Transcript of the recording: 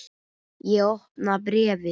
Ég opna bréfið.